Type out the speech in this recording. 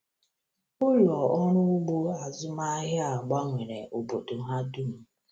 Ụlọ ọrụ ugbo azụmahịa a gbanwere obodo ha dum.